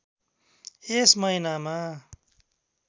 यस महिनामा